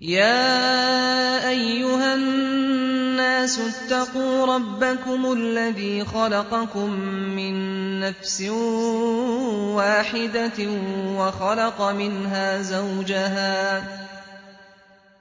يَا أَيُّهَا النَّاسُ اتَّقُوا رَبَّكُمُ الَّذِي خَلَقَكُم مِّن نَّفْسٍ وَاحِدَةٍ